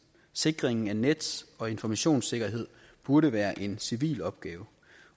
sikringen af nets og informationssikkerhed burde være en civil opgave